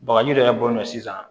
Bagaji dɔ yɛrɛ bɔlɔsi sisan